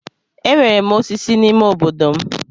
Enwere m osisi n'ime obodo m.